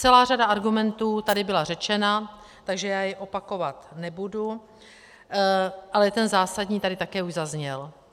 Celá řada argumentů tady byla řečena, takže já je opakovat nebudu, ale ten zásadní tady také už zazněl.